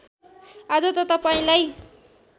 आज त तपाईँलाई